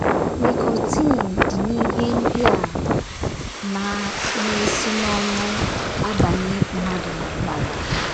Nikọtin dị n’ihe ndị a na na - esi n’ọnụ abanye mmadụ n’ọbara.